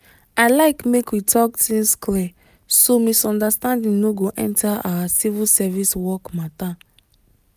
i like make we talk things clear so misunderstanding no go enter our civil service work matter.